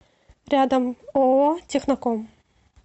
рядом ооо техноком